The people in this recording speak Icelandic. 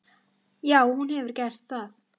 Já, hún hefur gert það.